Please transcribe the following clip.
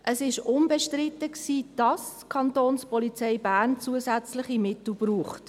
Es war unbestritten, dass die Kantonspolizei Bern (Kapo) zusätzliche Mittel braucht.